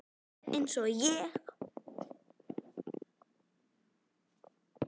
Alveg eins og ég!